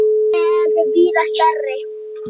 Þau er víða stærri.